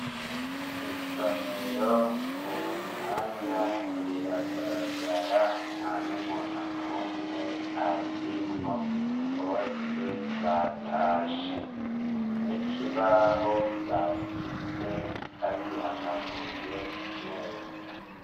Isomero uwu mwanya riragaragara ha n'umuntu n'umwe aririmwo bose batashe n'ikibaho basize bagihanaguye neza.